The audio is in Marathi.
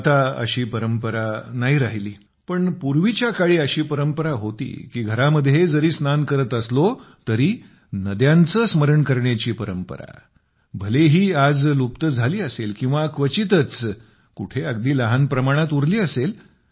आता अशी परंपरा तर नाही राहिली पण पूर्वीच्या काळी अशी परंपरा होती की घरात जरी स्नान करत असलो तरी नद्यांचे स्मरण करण्याची परंपरा भलेही आज लुप्त झाली असेल किंवा क्वचितच कुठे अगदी लहान प्रमाणात उरली असेल